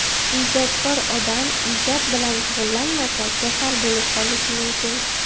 Ijodkor odam ijod bilan shug‘ullanmasa, kasal bo‘lib qolishi mumkin.